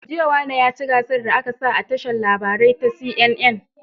Jiya wane yaci gasar da aƙasa a tashar labarai ta CNN